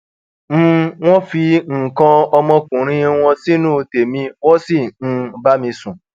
um wọn fi nǹkan olómọkùnrin wọn sínú tẹmí wọn sì um bá mi sùn